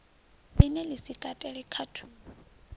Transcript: line la si katele khathulo